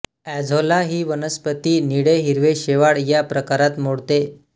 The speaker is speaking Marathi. एझोला ही वनस्पती निळेहिरवे शेवाळ या प्रकारात मोडते